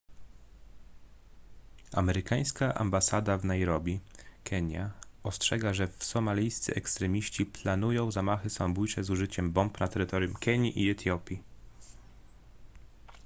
amerykańska ambasada w nairobi kenia ostrzega że somalijscy ekstremiści” planują zamachy samobójcze z użyciem bomb na terytorium kenii i etiopii